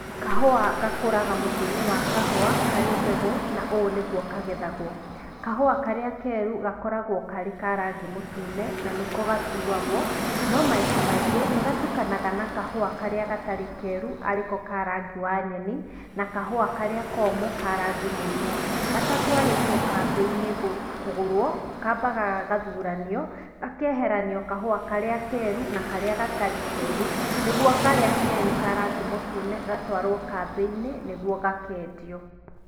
Kahũa gakũraga mũtĩ-inĩ wa kahũa karĩ mbegũ na ũũ nĩguo kagethagwo, kahũa karĩa keru gakoragwo karĩ ka rangi mũtune na nĩko gatuwagwo. No maita maingĩ nĩ gatukanaga na kahũa karĩa gatarĩ keru, arĩ ko ka rangi wa nyeni na kahũa karĩa komũ ka rangi mũirũ. Gatatwarĩtwo kambĩ-inĩ kũgũrwo, kambaga gagathuranio gakeheranio kahũa karĩa keru na karĩa gatarĩ keru nĩguo karĩa keru ka rangi mũtune gatwarwo kambĩ-inĩ nĩguo gakendio.